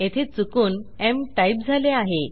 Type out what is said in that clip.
येथे चुकून mटाईप झाले आहे